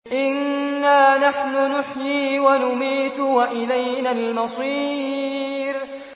إِنَّا نَحْنُ نُحْيِي وَنُمِيتُ وَإِلَيْنَا الْمَصِيرُ